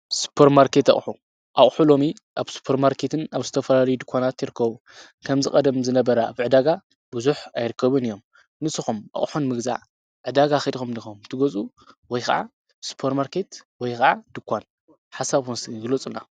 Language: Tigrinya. ሱፐር ማርኬት ኣቕሑ፡- ኣቕሑ ሎሚ ኣብ ሱፐር ማርኬትን ኣብ ዝተፈላለዩ ድኳናትን ይርከቡ፡፡ ከምዚ ቀደም ዝነበረ ኣብ ዕዳጋ ብዙሐ ኣይርከቡን እዮም፡፡ ንስኹም ኣቕሑ ንምግዛአ ዕዳጋ ኸይድኩም ዲኹም ትገዝኡ ወይ ከዓ ስፐርማርኬት ወይ ኸዓ ድንኳን ሓሳብኩም እስቲ ግለፁልና?